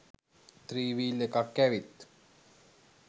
three wheel එකක්‌ ඇවිත්